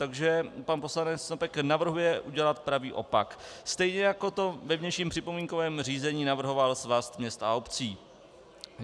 Takže pan poslanec Snopek navrhuje udělat pravý opak, stejně jako to ve vnějším připomínkovém řízení navrhoval Svaz měst a obcí.